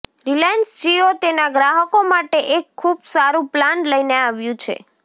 Reliance Jio તેના ગ્રાહકો માટે એક ખુબ સારું પ્લાન લઈને આવ્યું છે